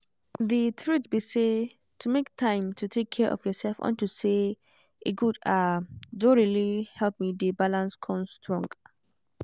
the truth be say to make time to take care of yourself unto say e good ah don really help me dey balance con strong